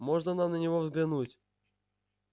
можно нам на него взглянуть